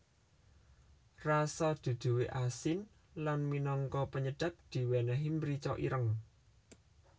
Rasa duduhe asin lan minangka penyedap diwenehi mrica ireng